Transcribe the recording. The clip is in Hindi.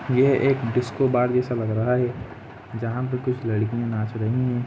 यह एक डिस्को बार जैसा लग रहा है जहा पर कुछ लड़कियां नाच रही है।